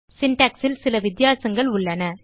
syntax ல் சில வித்தியாசங்கள் உள்ளன